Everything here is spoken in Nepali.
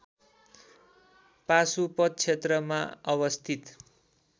पाशुपत क्षेत्रमा अवस्थित